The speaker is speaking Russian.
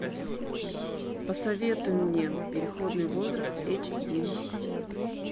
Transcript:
посоветуй мне переходный возраст эйч ди